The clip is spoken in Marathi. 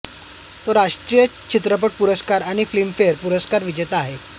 तो राष्ट्रीय चित्रपट पुरस्कार आणि फिल्मफेअर पुरस्कार विजेता आहे